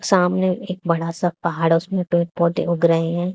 सामने एक बड़ा सा पहाड़ उसमें पेड़ पौधे उग रहे हैं।